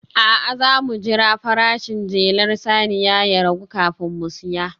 A'a, za mu jira farashin jelar saniya ya ragu kafin mu saya